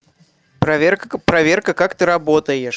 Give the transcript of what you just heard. проверка проверка как ты работаешь